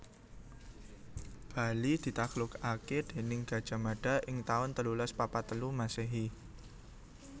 Bali ditaklukaké déning Gajah Mada ing taun telulas papat telu Masèhi